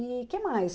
E que mais?